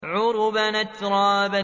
عُرُبًا أَتْرَابًا